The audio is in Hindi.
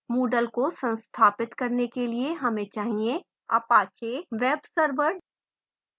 moodle को संस्थापित करने के लिए हमें चाहिए apache webserver